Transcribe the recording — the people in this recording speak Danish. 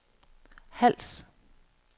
Hals